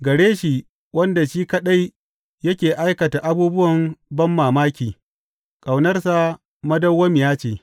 Gare shi wanda shi kaɗai yake aikata abubuwan banmamaki, Ƙaunarsa madawwamiya ce.